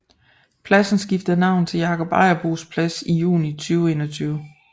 Pladsen skiftede navn til Jakob Ejersbos Plads i juni 2021